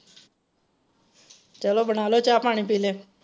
ਚਲੋ ਬਨਾਲੋ ਚਾਹ ਪਾਣੀ ਪੀ ਲੇ।